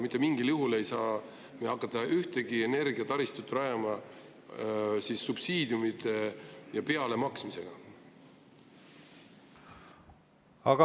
Mitte mingil juhul ei saa me hakata mingit energiataristut rajama subsiidiumide ja pealemaksmise abil.